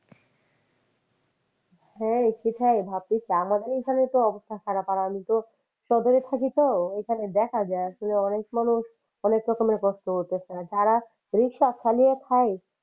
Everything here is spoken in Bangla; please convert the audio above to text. হ্যাঁ, সেটাই ভাবতেছি আমাদের এখানে তো অবস্থা খারাপ আর আমি তো সদরে থাকি তো এখানে দেখা যায় আসলে অনেক মানুষ অনেক রকমের কষ্ট করতেছে আর যারা রিকশা চালিয়ে খায়,